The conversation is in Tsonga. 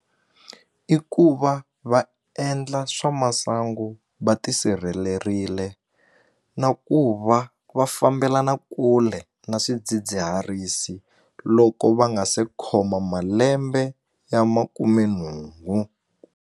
I ku va va endla swa masangu va tisirhelerile na ku va va fambelana kule na swidzidziharisi loko va nga se khoma malembe ya makumenhungu.